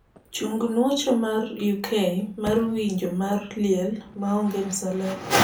chung nuocho mar uk mar winjo mar liel maonge msalaba